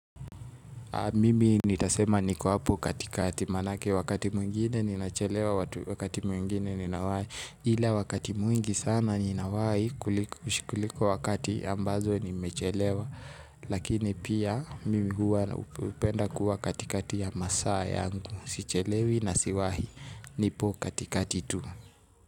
Mimi nitasema niko hapo katikati maanake wakati mwingine ninachelewa wakati mwingine ninawahi. Ile wakati mwingi sana ninawahi kuliko kuliko wakati ambazo nimechelewa. Lakini pia mimi huwa hupenda kuwa katikati ya masaa yangu. Sichelewi na siwahi nipo katikati tu.